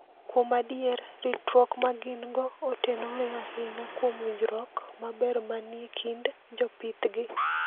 Kuom adier, ritruok ma gin-go otenore ahinya kuom winjruok maber manie kind jopithgi.